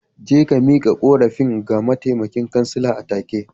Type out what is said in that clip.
Je ka miƙa korafin ga mataimakin kansila atake.